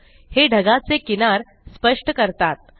हे ढगाचे किनार स्पष्ट करतात